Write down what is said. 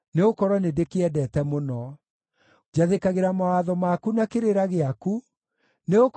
Njathĩkagĩra mawatho maku na kĩrĩra gĩaku, nĩgũkorwo mĩthiĩre yakwa yothe nĩũmĩũĩ.